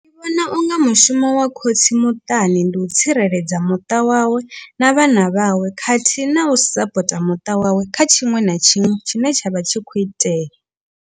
Ndi vhona unga mushumo wa khotsi muṱani ndi u tsireledza muṱa wawe na vhana vhawe khathihi na u sapota muṱa wawe kha tshiṅwe na tshiṅwe tshine tsha vha tshi kho itea.